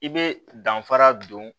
I bɛ danfara don